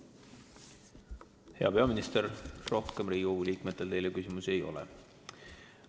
Hea peaminister, rohkem Riigikogu liikmetel teile küsimusi ei ole.